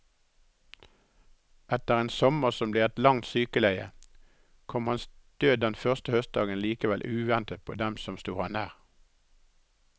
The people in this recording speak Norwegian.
Etter en sommer som ble et langt sykeleie, kom hans død denne første høstdagen likevel uventet på dem som sto ham nær.